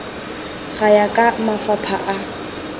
go ya ka mafapha a